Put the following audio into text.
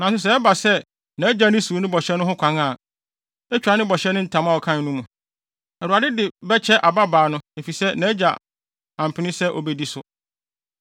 Nanso sɛ ɛba sɛ nʼagya no siw no bɔhyɛ no ho kwan a, etwa ne bɔhyɛ ne ntam a ɔkae no mu. Awurade de bɛkyɛ ababaa no, efisɛ nʼagya ampene sɛ obedi so.